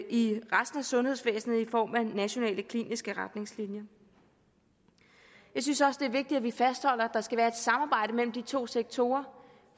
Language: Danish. i resten af sundhedsvæsenet i form af nationale kliniske retningslinjer jeg synes også det er vigtigt at vi fastholder at der skal være et samarbejde mellem de to sektorer